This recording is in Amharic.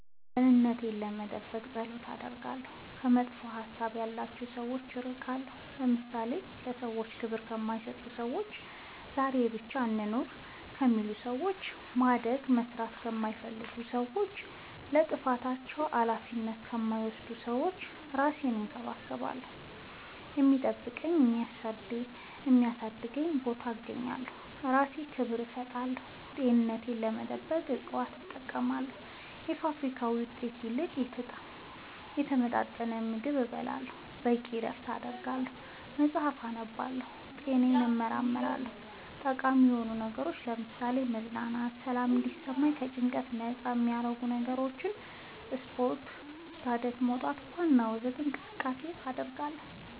ደህንነቴን ለመጠበቅ ፀሎት አደርጋለሁ ከመጥፎ ሀሳብ ያላቸው ሰዎች እርቃለሁ ለምሳሌ ለሰዎች ክብር ከማይሰጡ ሰዎች ዛሬን ብቻ እንኑር ከሚሉ ሰዎች ማደግ መስራት ከማይፈልጉ ሰዎች ለጥፋታቸው አላፊነት ከማይወስዱ ሰዎች እራሴን እንከባከባለሁ የሚጠቅመኝና የሚያሳድገኝ ቦታ እገኛለሁ ለእራሴ ክብር እሰጣለሁ ጤንነቴን ለመጠበቅ እፅዋት እጠቀማለሁ ከፋብሪካ ውጤት ይልቅ የተመጣጠነ ምግብ እበላለሁ በቂ እረፍት አደርጋለሁ መፅአፍ አነባለሁ ጤናዬን እመረመራለሁ ጠቃሚ የሆኑ ነገሮች ለምሳሌ መዝናናት ሰላም እንዲሰማኝ ከጭንቀት ነፃ የሚያረጉኝ ነገሮች ስፓርት ጋደት መውጣት ዋና ወዘተ እንቅስቃሴ ማድረግ